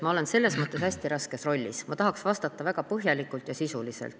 Ma olen selles mõttes hästi raskes rollis, et ma tahaks vastata väga põhjalikult ja sisuliselt.